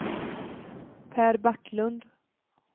Per Backlund